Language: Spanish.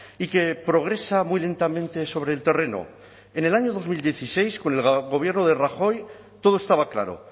y que progresa muy lentamente sobre el terreno en el año dos mil dieciséis con el gobierno de rajoy todo estaba claro